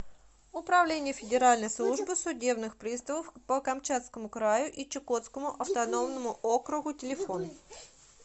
управление федеральной службы судебных приставов по камчатскому краю и чукотскому автономному округу телефон